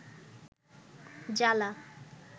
জ্বালা